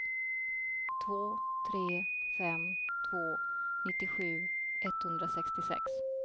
två tre fem två nittiosju etthundrasextiosex